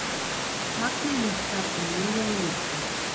Magnið minnkar um milljón lítra